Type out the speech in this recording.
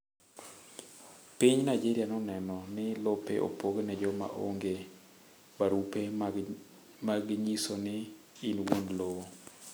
Piny Nigeria noneno ni lope opogne joma onge barube mag nyiso ni in wuon lowo.